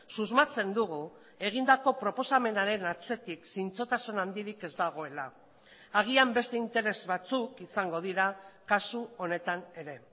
susmatzen dugu egindako proposamenaren atzetik zintzotasun handirik ez dagoela agian beste interes batzuk izango dira kasu honetan ere